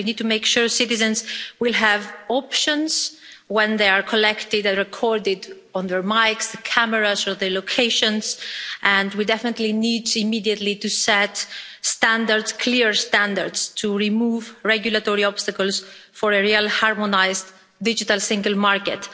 So we need to make sure citizens have options when data is collected, when they are recorded on their mics and cameras, and their locations recorded, and we definitely need immediately to set standards, clear standards, to remove regulatory obstacles for a real harmonised digital single market.